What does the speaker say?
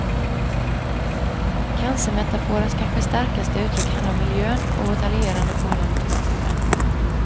Cancermetaforens kanske starkaste uttryck handlar om miljön och vårt alienerade förhållande till naturen.